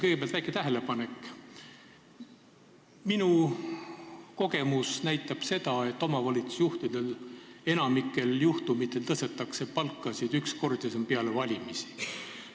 Kõigepealt väike tähelepanek, et minu kogemus näitab seda, et omavalitsusjuhtidel tõstetakse enamikul juhtumitel palkasid üks kord, s.o peale valimisi.